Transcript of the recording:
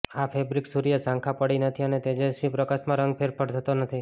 આ ફેબ્રિક સૂર્ય ઝાંખા પડી નથી અને તેજસ્વી પ્રકાશ માં રંગ ફેરફાર થતો નથી